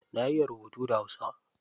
Na iya rubutu da hausa.